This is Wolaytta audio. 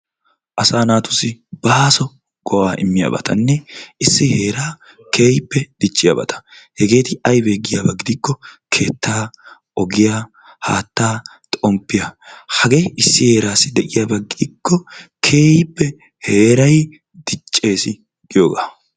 Asaa naatussi baaso go'aa immiyabatanne issi heeraa Keehippe dichiyabata; hegeeti aybee giyaba gidikko keettaa, ogiya, haatta , xomppiya. Hagee issi heeraassi de'iyaba gidikko keehippe heeray diceessi giyoogaa.